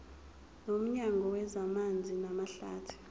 nomnyango wezamanzi namahlathi